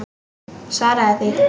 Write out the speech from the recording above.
Svaraðu því.